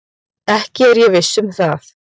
Ekki er ég viss um það.